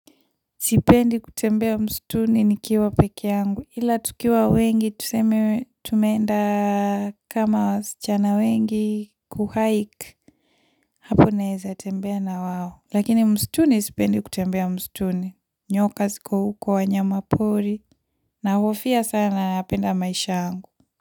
Sipendi kutembea msituni nikiwa pekee yangu. Ila tukiwa wengi, tuseme tumeenda kama wasichana wengi kuhike. Hapo naeza tembea na wao. Lakini msituni sipendi kutembea msituni. Nyoka ziko huko, wanyama pori. Nahofia sana napenda maisha yangu.